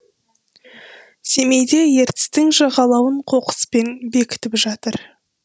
семейде ертістің жағалауын қоқыспен бекітіп жатыр